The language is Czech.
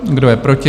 Kdo je proti?